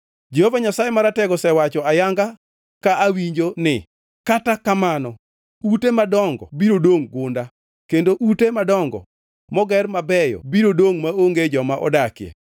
Jehova Nyasaye Maratego osewacho ayanga ka awinjo ni: “Kata kamano ute madongo biro dongʼ gunda, kendo ute madongo moger mabeyo biro dongʼ maonge joma odakie.